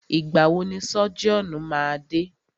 Ìgbà wọ ni sọ́jíọ̀nù máa dé?